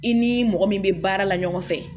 I ni mɔgɔ min bɛ baara la ɲɔgɔn fɛ